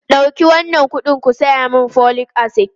Dauki wannan kuɗin ku saya min folic acid!